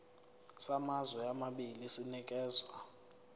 samazwe amabili sinikezwa